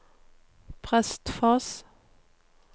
Prestfoss